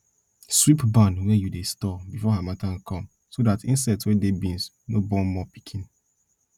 sweep barn wey you dey store before harmattan come so dat insect wey dey beans no born more pikin